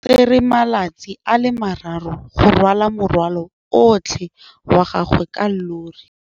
O tsere malatsi a le marraro go rwala morwalo otlhe wa gagwe ka llori.